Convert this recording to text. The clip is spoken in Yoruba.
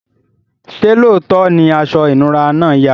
ṣe looto ní aṣọ inura náa yà?